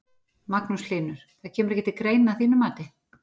Magnús Hlynur: Það kemur ekki til greina að þínu mati?